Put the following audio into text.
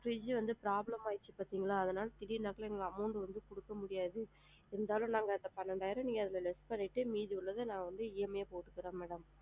Fridge வந்து problem ஆச்சு பாத்திங்களா அதனால வந்து amount வந்து குடுக்க முடியாது இருந்தாலும் நாங்க அந்த பணிரண்டாயிரம் வந்து அதுல less பண்ணிட்டு மீதிய வந்து நான் EMI போட்டுக்குறேன் madam